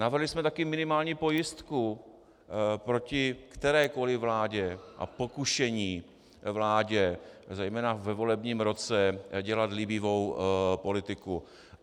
Navrhli jsme také minimální pojistku proti kterékoli vládě a pokušení vládě zejména ve volebním roce dělat líbivou politiku.